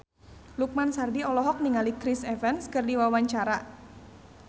Lukman Sardi olohok ningali Chris Evans keur diwawancara